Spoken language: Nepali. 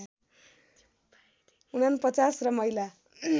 ४९ र महिला